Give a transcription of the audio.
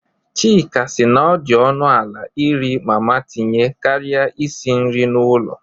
Chika sị na ọ dị ọnụ ala iri mama tinye karịa isi nri n'ụlọ.